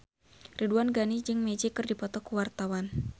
Ridwan Ghani jeung Magic keur dipoto ku wartawan